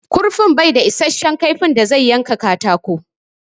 Ƙurfi din bai da issashen kaifi da zai yanka katako.